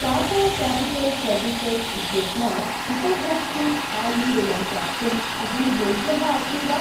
Tata capital services इत्यस्मात् उपभोक्तृ स्थायि ऋणम् प्राप्तुम् अहं योग्यः अस्मि वा?